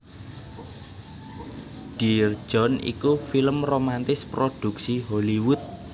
Dear John iku film romantis prodhuksi Hollywood